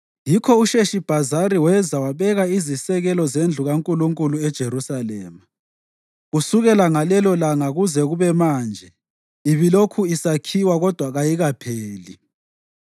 Yikho uSheshibhazari weza wabeka izisekelo zendlu kaNkulunkulu eJerusalema. Kusukela ngalelolanga kuze kube manje ibilokhu isakhiwa kodwa kayikapheli.”